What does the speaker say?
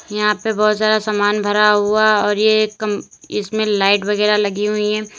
यहां पे बहोत सारा सामान भरा हुआ और ये कम इसमें लाइट वगैरा लगी हुई हैं।